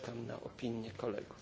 Czekam na opinię kolegów.